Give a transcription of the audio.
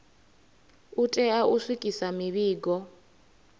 u tea u swikisa mivhigo